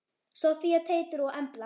Soffía, Teitur og Embla.